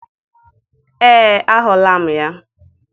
Ee, ahụla m ya.